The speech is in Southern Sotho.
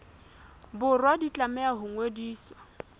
borwa di tlameha ho ngodiswa